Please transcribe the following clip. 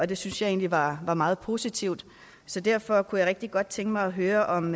det synes jeg egentlig var meget positivt så derfor kunne jeg rigtig godt tænke mig at høre om